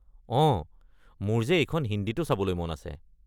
অঁ, মোৰ যে এইখন হিন্দীতো চাবলৈ মন আছে।